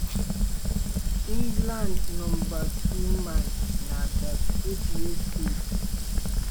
england number two man na 38 years old.